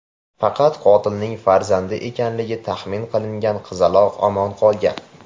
Faqat qotilning farzandi ekanligi taxmin qilingan qizaloq omon qolgan.